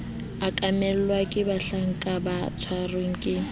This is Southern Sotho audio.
okamelwa ke bahlanka ba tshwereng